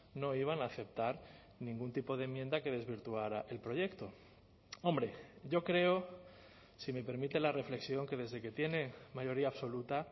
no iban a aceptar ningún tipo de enmienda que desvirtuara el proyecto hombre yo creo si me permite la reflexión que desde que tiene mayoría absoluta